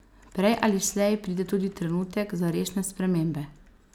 Prej ali slej pride tudi trenutek za resne spremembe.